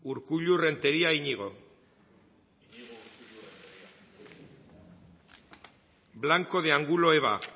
urkullu renteria iñigo blanco de angulo eva